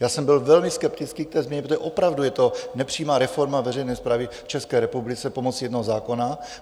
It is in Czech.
Já jsem byl velmi skeptický k té změně, protože opravdu je to nepřímá reforma veřejné správy v České republice pomocí jednoho zákona.